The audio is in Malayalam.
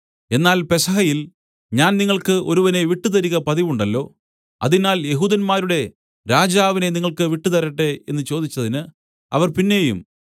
എന്നാൽ പെസഹയിൽ ഞാൻ നിങ്ങൾക്ക് ഒരുവനെ വിട്ടുതരിക പതിവുണ്ടല്ലോ അതിനാൽ യെഹൂദന്മാരുടെ രാജാവിനെ നിങ്ങൾക്ക് വിട്ടുതരട്ടെ എന്നു ചോദിച്ചതിന് അവർ പിന്നെയും